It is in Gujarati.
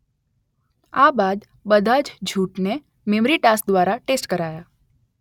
આ બાદ બધા જ જૂથને મેમરી ટાસ્ક દ્વારા ટેસ્ટ કરાયા